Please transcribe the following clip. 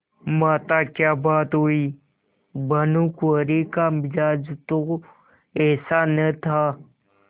माताक्या बात हुई भानुकुँवरि का मिजाज तो ऐसा न था